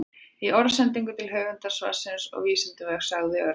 Í orðsendingu til höfundar svarsins og Vísindavefsins sagði Örn: